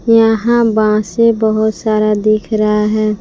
यहां बांसे बहोत सारा दिख रहा है।